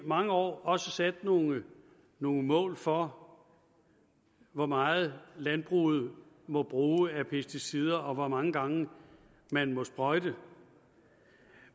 mange år også sat nogle nogle mål for hvor meget landbruget må bruge af pesticider og hvor mange gange man må sprøjte